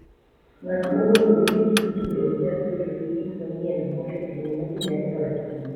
Ng'at mowuotho gi pikipiki bende nyalo bedo gi gik mang'eny mosetimo ma ji nyalo paro kuome.